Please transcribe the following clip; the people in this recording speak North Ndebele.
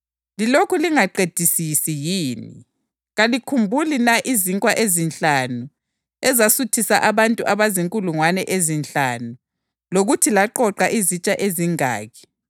Lilokhu lingaqedisisi yini? Kalikhumbuli na izinkwa ezinhlanu ezasuthisa abantu abazinkulungwane ezinhlanu, lokuthi laqoqa izitsha ezingaki?